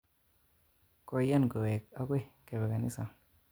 Koian kowek akoi kepe kanisa.